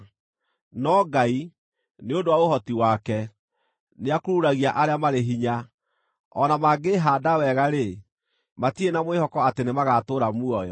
No Ngai, nĩ ũndũ wa ũhoti wake, nĩakururagia arĩa marĩ hinya; o na mangĩĩhaanda wega-rĩ, matirĩ na mwĩhoko atĩ nĩmagatũũra muoyo.